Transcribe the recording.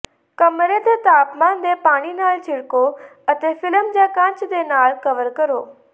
ਕਮਰੇ ਦੇ ਤਾਪਮਾਨ ਦੇ ਪਾਣੀ ਨਾਲ ਛਿੜਕੋ ਅਤੇ ਫਿਲਮ ਜਾਂ ਕੱਚ ਦੇ ਨਾਲ ਕਵਰ ਕਰੋ